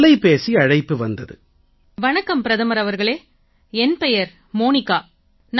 ஒரு தொலைபேசி அழைப்பு வந்தது வணக்கம் பிரதமர் அவர்களே என் பெயர் மோனிகா